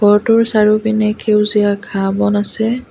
ঘৰটোৰ চাৰিওপিনে খেউজীয়া ঘাঁহ-বন আছে।